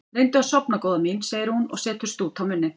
Reyndu að sofna góða mín, segir hún og setur stút á munninn.